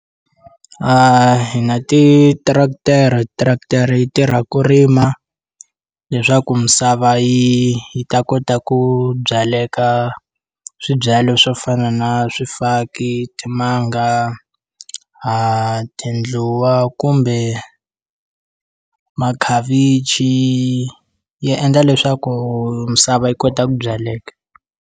A hi na ti-tractor-e, tractor-e yi tirha ku rima leswaku misava yi yi ta kota ku byaleka swibyalwa swo fana na swifaki timanga tindluwa kumbe makhavichi ya endla leswaku misava yi kota ku byaleka.